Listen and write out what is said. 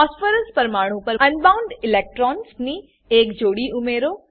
phosphorus પરમાણુ પર unbound electrons ની એક જોડી ઉમેરો